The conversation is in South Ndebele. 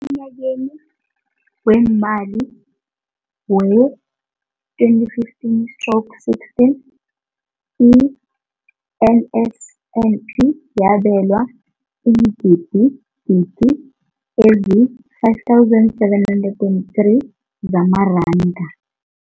Emnyakeni weemali we-2015 stroke 16, i-NSNP yabelwa iingidigidi ezi-5 703 zamaranda.